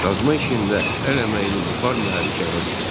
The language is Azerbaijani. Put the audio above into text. Qazma işində əl əməyini buxar mühərriki əvəz etdi.